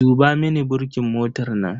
Duba mini burkin motar nan.